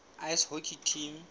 ice hockey team